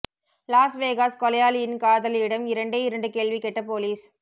loss Vegas கொலையாளியின் காதலியிடம் இரண்டே இரண்டு கேள்வி கேட்ட போலீஸ்